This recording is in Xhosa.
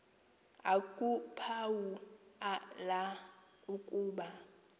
akuphawu la ukuba